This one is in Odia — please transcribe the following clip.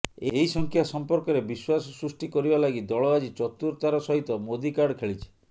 ଏହି ସଂଖ୍ୟା ସଂପର୍କରେ ବିଶ୍ୱାସ ସୃଷ୍ଟି କରିବା ଲାଗି ଦଳ ଆଜି ଚତୁରତାର ସହିତ ମୋଦୀ କାର୍ଡ ଖେଳିଛି